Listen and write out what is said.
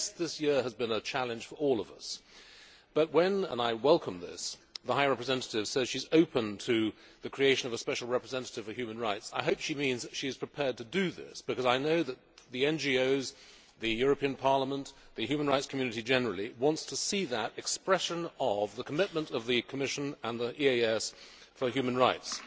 Yes, this year has been a challenge for all of us, but when and I welcome this the Vice President High Representative says she is open to the creation of a special representative for human rights, I hope she means that she is prepared to do this, because I know that the NGOs, the European Parliament and the human rights community generally want to see that expression of the commitment of the Commission and the EEAS to human rights.